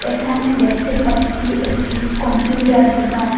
এখানে দেখতে পাচ্ছি একটি কম্পিউডার দোকান।